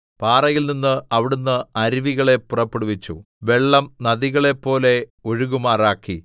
പാറയിൽനിന്ന് അവിടുന്ന് അരുവികളെ പുറപ്പെടുവിച്ചു വെള്ളം നദികളെപ്പോലെ ഒഴുകുമാറാക്കി